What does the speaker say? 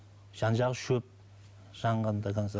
жан жағы шөп жанған до конца